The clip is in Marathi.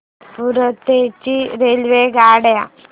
पुरी ते रांची रेल्वेगाड्या